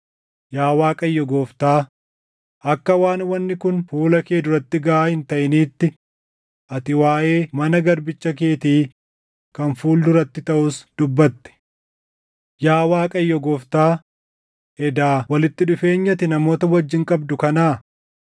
Yaa Waaqayyo Gooftaa, akka waan wanni kun fuula kee duratti gaʼaa hin taʼiniitti ati waaʼee mana garbicha keetii kan fuul duratti taʼus dubbatte. Yaa Waaqayyo Gooftaa, edaa walitti dhufeenyi ati namoota wajjin qabdu kanaa?